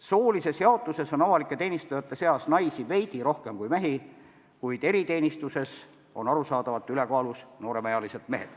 Soolise jaotuse kohaselt on avalikus teenistuses naisi veidi rohkem kui mehi, kuid eriteenistuses on arusaadavalt ülekaalus nooremad mehed.